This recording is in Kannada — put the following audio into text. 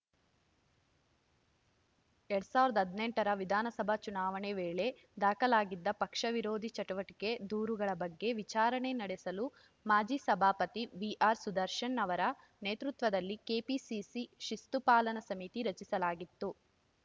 ಎರಡ್ ಸಾವಿರದ ಹದನೆಂಟರ ವಿಧಾನಸಭಾ ಚುನಾವಣೆ ವೇಳೆ ದಾಖಲಾಗಿದ್ದ ಪಕ್ಷ ವಿರೋಧಿ ಚಟುವಟಿಕೆ ದೂರುಗಳ ಬಗ್ಗೆ ವಿಚಾರಣೆ ನಡೆಸಲು ಮಾಜಿ ಸಭಾಪತಿ ವಿಆರ್‌ಸುದರ್ಶನ್‌ ಅವರ ನೇತೃತ್ವದಲ್ಲಿ ಕೆಪಿಸಿಸಿ ಶಿಸ್ತು ಪಾಲನಾ ಸಮಿತಿ ರಚಿಸಲಾಗಿತ್ತು